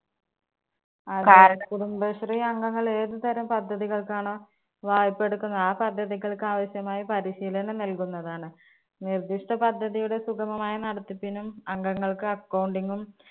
കുടുംബശ്രീ അംഗങ്ങൾ ഏത് തരം പദ്ധതികൾക്കാണോ വായ്പ്പ എടുക്കുന്നത് ആ പദ്ധതികൾക്ക് ആവശ്യമായ പരിശീലനം നൽകുന്നതാണ്. നിർദ്ധിഷ്ട പദ്ധതിയുടെ സുഖമമായ നടത്തിപ്പിനും അംഗങ്ങൾക്ക് accounting നും